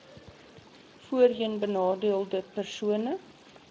voorheen benadeelde persone